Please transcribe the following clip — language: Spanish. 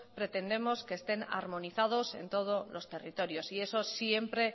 pretendemos que estén armonizados en todos los territorios y eso siempre